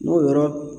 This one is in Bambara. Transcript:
N'o yɔrɔ